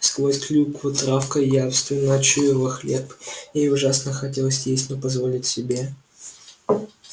сквозь клюкву травка явственно чуяла хлеб и ей ужасно хотелось есть но позволить себе